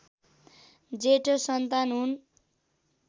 जेठो सन्तान हुन्